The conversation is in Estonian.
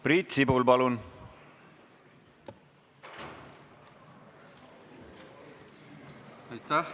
Priit Sibul, palun!